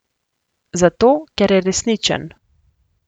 Zato, ker je resničen.